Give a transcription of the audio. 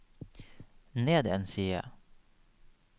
ned en side